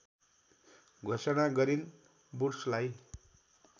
घोषणा गरिन् वुड्सलाई